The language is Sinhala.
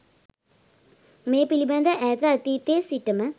මේ පිළිබඳ ඈත අතීතයේ සිටම